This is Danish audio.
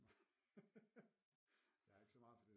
Jeg er ikke så meget for det der